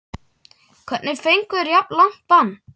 Hvernig fengu þeir jafn langt bann?